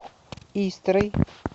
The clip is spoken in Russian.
истрой